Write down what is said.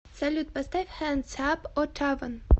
салют поставь хэндс ап оттаван